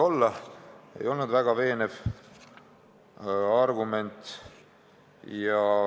See ei olnud väga veenev argument.